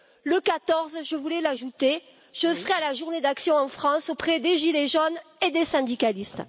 Le 14 décembre, je voulais l'ajouter, je serai à la journée d'action en France, aux côtés des gilets jaunes et des syndicalistes.